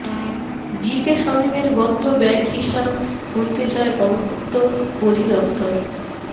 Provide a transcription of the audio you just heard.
GK শামীমের বন্ধ bank হিসাব খুলতে চায় গণপূর্ত অধিদপ্তর